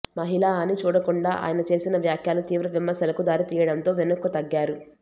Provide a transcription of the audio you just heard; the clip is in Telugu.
మహిళా అని చూడకుండా ఆయన చేసిన వ్యాఖ్యలు తీవ్ర విమర్శలకు దారితీయడంతో వెనక్కు తగ్గారు